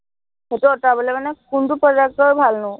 সেইটো আঁতৰাবলে মানে কোনটো product ৰ ভালনো?